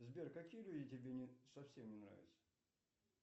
сбер какие люди тебе совсем не нравятся